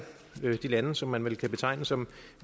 de lande som man vel kan betegne som